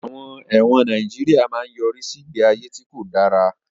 Àwọn ẹ̀wọ̀n Nàìjíríà máa ń yọrí sí ìgbé ayé tí kò dára